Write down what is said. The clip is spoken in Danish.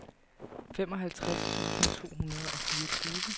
femoghalvtreds tusind to hundrede og fireogtyve